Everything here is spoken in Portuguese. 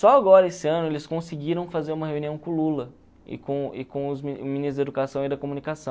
Só agora, esse ano, eles conseguiram fazer uma reunião com o Lula e com e com os o ministro da educação e da comunicação.